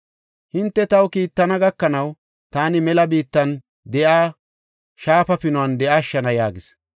Hinte taw kiittana gakanaw taani mela biittan de7iya shaafa pinuwan de7ashshana” yaagis.